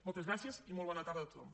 moltes gràcies i molt bona tarda a tothom